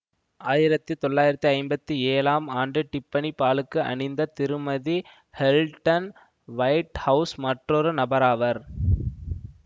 ஆயிரத்தி தொளாயிரத்தி ஐம்பத்தி ஏழாம் ஆண்டு டிஃப்ஃபனி பாலுக்கு அணிந்த திருமதி ஹெல்டன் வைட்ஹவுஸ் மற்றொரு நபராவார்